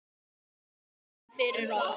Við þökkum fyrir okkur.